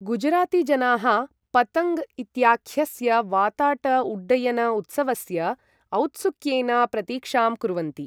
गुजरातीजनाः 'पतङ्ग्' इत्याख्यस्य वाताट उड्डयन उत्सवस्य औत्सुक्येन प्रतीक्षां कुर्वन्ति।